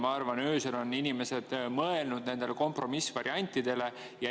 Ma arvan, et öösel on inimesed mõelnud kompromissvariantidele.